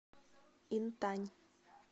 интань